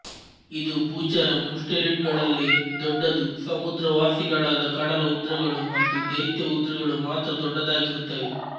ಇದು ಭೂಚರ ಮುಸ್ಟೆಲಿಡ್ ಗಳಲ್ಲೇ ದೊಡ್ಡದು ಸಮುದ್ರ ವಾಸಿಗಳಾದ ಕಡಲ ಉದ್ರಗಳು ಮತ್ತು ದೈತ್ಯ ಉದ್ರಗಳು ಮಾತ್ರ ದೊಡ್ದದಾಗಿರುತ್ತವೆ